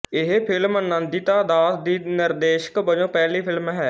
ਇਹ ਫਿਲਮ ਨੰਦਿਤਾ ਦਾਸ ਦੀ ਨਿਰਦੇਸ਼ਕ ਵਜੋਂ ਪਹਿਲੀ ਫਿਲਮ ਹੈ